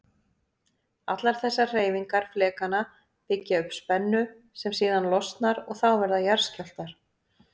Allar þessar hreyfingar flekanna byggja upp spennu sem síðan losnar og þá verða jarðskjálftar.